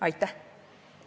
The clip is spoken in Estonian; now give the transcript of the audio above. Aitäh!